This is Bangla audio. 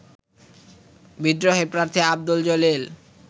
বিদ্রোহী প্রার্থী আব্দুল জলিল